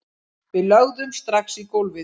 Við lögðumst strax í gólfið